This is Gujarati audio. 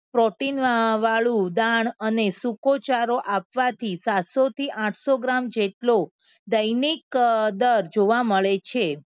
Protein અમ વાળું દાળ અને સૂકોચારો આપવાથી સાતસોથી આઠસો ગ્રામ જેટલો દૈનિક અમ દર જોવા મળે છે.